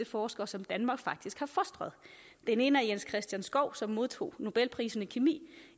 forskere som danmark faktisk har fostret den ene er jens christian skou som modtog nobelprisen i kemi